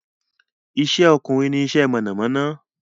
Ìṣẹ́ ọkùnrin ní iṣẹ́ iná mọ̀namọ́ná